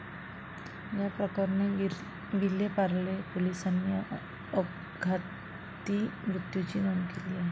याप्रकरणी विलेपार्ले पोलिसांनी अपघाती मृत्यूची नोंद केली आहे.